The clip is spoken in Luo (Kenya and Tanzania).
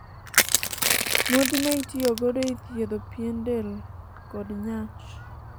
modhi ma itiyo godo e thiedho pien del kod nyach